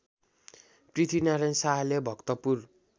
पृथ्वीनारायण शाहले भक्तपुर